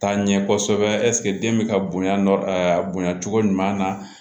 Taa ɲɛ kosɛbɛ ɛseke den bɛ ka bonya bonya cogo ɲuman na